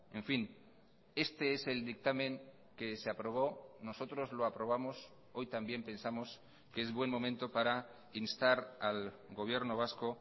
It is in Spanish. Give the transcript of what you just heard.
en fin este es el dictamen que se aprobó nosotros lo aprobamos hoy también pensamos que es buen momento para instar al gobierno vasco